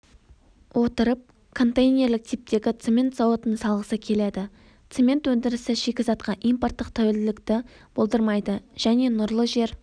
отырып контейнерлік типтегі цемент зауытын салғысы келеді цемент өндірісі шикізатқа импорттық тәуелділіктіболдырмайды және нұрлы жер